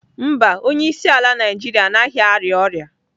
Mba, onyeisiala Naijiria anaghị arịa ọrịa.